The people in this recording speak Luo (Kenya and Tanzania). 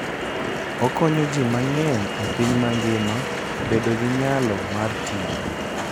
Okonyo ji mang'eny e piny mangima bedo gi nyalo mar tiyo.